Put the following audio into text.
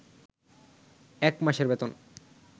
এক মাসের বেতন